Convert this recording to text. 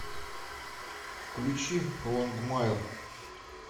включи лонгмайер